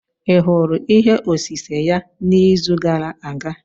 Ị hụrụ ihe osise ya n'izu gara aga?